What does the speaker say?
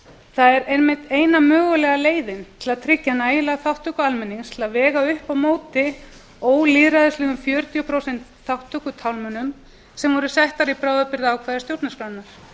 það er einmitt eina mögulega leiðin til að tryggja nægilega þátttöku almennings til að vega upp á móti ólýðræðislegum fjörutíu prósent þátttökutálmunum sem voru settar í bráðabirgðaákvæði stjórnarskrárinnar